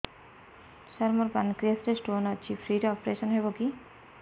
ସାର ମୋର ପାନକ୍ରିଆସ ରେ ସ୍ଟୋନ ଅଛି ଫ୍ରି ରେ ଅପେରସନ ହେବ କି